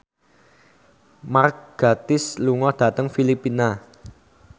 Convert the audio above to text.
Mark Gatiss lunga dhateng Filipina